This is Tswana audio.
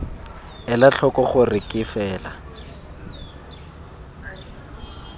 ela tlhoko gore ke fela